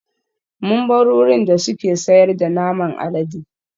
Mun bar wurin da suke sayar da naman alade